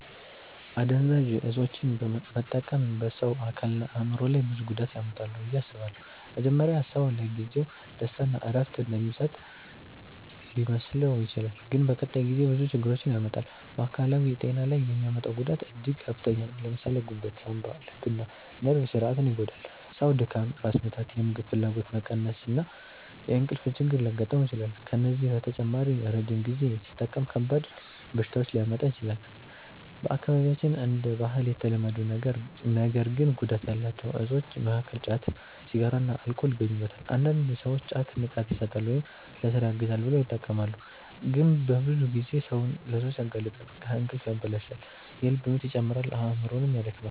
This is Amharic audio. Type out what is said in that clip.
አደንዛዥ እፆችን መጠቀም በሰው አካልና በአእምሮ ላይ ብዙ ጉዳት ያመጣል ብዬ አስባለሁ። መጀመሪያ ሰው ለጊዜው ደስታ ወይም እረፍት እንደሚሰጥ ሊመስለው ይችላል፣ ግን በቀጣይ ጊዜ ብዙ ችግር ያመጣል። በአካላዊ ጤና ላይ የሚያመጣው ጉዳት እጅግ ከፍተኛ ነው። ለምሳሌ ጉበት፣ ሳንባ፣ ልብና ነርቭ ስርዓትን ይጎዳል። ሰው ድካም፣ ራስ ምታት፣ የምግብ ፍላጎት መቀነስ እና የእንቅልፍ ችግር ሊያጋጥመው ይችላል። ከዚህ በተጨማሪ ረጅም ጊዜ ሲጠቀም ከባድ በሽታዎች ሊያመጣ ይችላል። በአካባቢያችን እንደ ባህል የተለመዱ ነገር ግን ጉዳት ያላቸው እፆች መካከል ጫት፣ ሲጋራና አልኮል ይገኙበታል። አንዳንድ ሰዎች ጫት “ንቃት ይሰጣል” ወይም “ለሥራ ያግዛል” ብለው ይጠቀማሉ፣ ግን በብዙ ጊዜ ሰውን ለሱስ ያጋልጣል። እንቅልፍ ያበላሻል፣ የልብ ምት ይጨምራል፣ አእምሮንም ያደክማል።